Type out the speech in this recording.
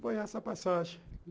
Foi essa passagem.